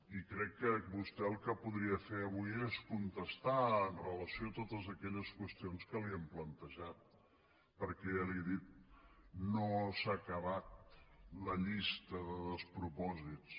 i crec que vostè el que podria fer avui és contestar amb relació a totes aquelles qüestions que li hem plantejat perquè ja li ho he dit no s’ha acabat la llista de despropòsits